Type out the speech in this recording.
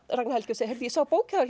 Ragnar Helgi og segir ég sá bók hjá